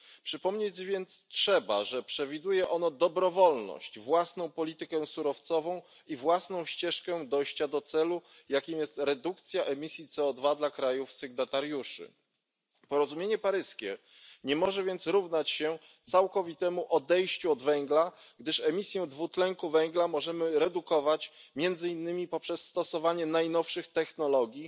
Przypomnieć więc trzeba, że przewiduje ono dobrowolność, własną politykę surowcową i własną ścieżkę dojścia do celu, jakim jest redukcja emisji CO2 dla krajów sygnatariuszy. Porozumienie paryskie nie może więc równać się całkowitemu odejściu od węgla, gdyż emisję dwutlenku węgla możemy redukować między innymi poprzez stosowanie najnowszych technologii